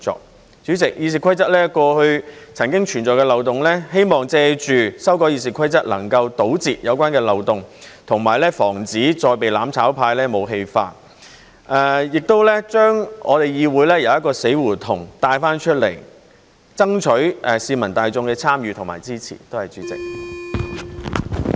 代理主席，《議事規則》過去曾經存在漏洞，希望藉着修改《議事規則》能夠堵塞有關的漏洞，以及防止再被"攬炒派"武器化，亦將我們的議會由死胡同中帶出來，爭取市民大眾的參與和支持。